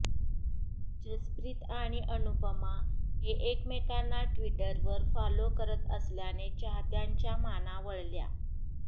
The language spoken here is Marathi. जसप्रीत आणि अनुपमा हे एकमेकांना ट्विटरवर फॉलो करत असल्याने चाहत्यांच्या माना वळल्या